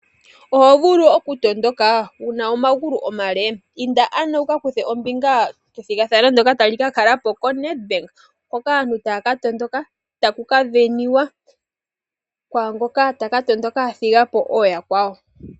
Oho vulu oku tondoka wuna omagulu omale ? Inda ano wuka kuthe ombinga kethigathano ndjoka tali ka kala koNedbank. Hoka aantu taya ka tondoka taku ka sindanwa kwaangoka taka thiga po oya kwawo.